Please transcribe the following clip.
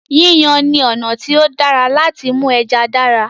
Yíyan ni ọ̀nà tí ó dára láti mú ẹja dára.